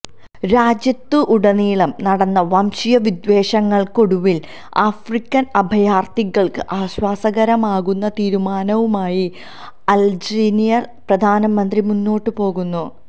രാജ്യത്തുടനീളം നടന്ന വംശീയ വിദ്വേഷങ്ങള്ക്കൊടുവിലാണ് ആഫ്രിക്കന് അഭയാര്ഥികള്ക്ക് ആശ്വാസകരമാകുന്ന തീരുമാനവുമായി അല്ജീരിയന് പ്രധാനമന്ത്രി മുന്നോട്ട് പോകുന്നത്